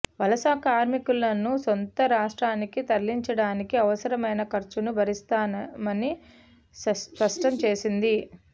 వలస కార్మికులను సొంత రాష్ట్రానికి తరలించడానికి అవసరమైన ఖర్చును భరిస్తామని స్పష్టం చేసింది